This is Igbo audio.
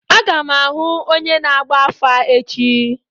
Aga m ahụ onye na-agba afa echi.